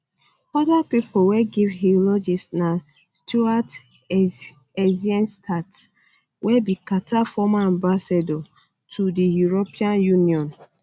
oda pipo wey give eulogies na stuart eizenstat wey be carter former ambassador to di european union